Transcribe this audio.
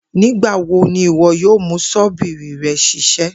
Nigbawo ni iwọ yoo mu ṣọ́bìrì rẹ ṣiṣẹ